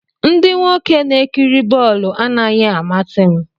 Ndị nwoke na-ekiri bọọlụ anaghị amasị m